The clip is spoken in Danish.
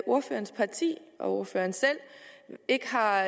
ordførerens parti og ordføreren selv ikke har